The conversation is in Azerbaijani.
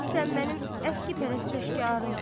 Sən mənim əskikpərəst əşkərarım.